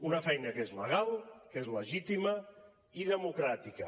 una feina que és legal que és legítima i democràtica